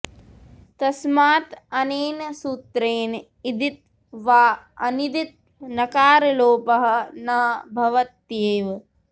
तस्मात् अनेन सूत्रेण इदित् वा अनिदित् नकारलोपः न भवत्येव